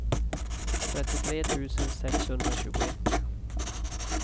trettiotre tusen sexhundratjugoett